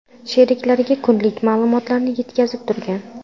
sheriklariga kunlik ma’lumotlarni yetkazib turgan.